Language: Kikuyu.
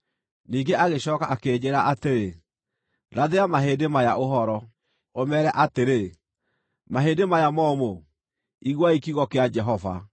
Ningĩ agĩcooka akĩnjĩĩra atĩrĩ, “Rathĩra mahĩndĩ maya ũhoro, ũmeere atĩrĩ, ‘Mahĩndĩ maya momũ, iguai kiugo kĩa Jehova!